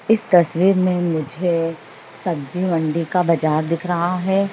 इस तस्वीर में मुझे सब्ज़ी मंडी का बजार दिख रहा है।